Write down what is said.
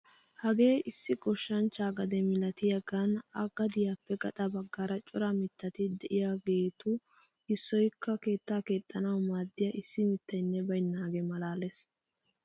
Hagee issi goshshanchchaa gade milatiyaagan a gadiyaappe gaxa baggaara cora mittati de'iyaagetu issoyikka keettaa keexxanawu maaddiyaa issi mittaynne baynnaage malaales!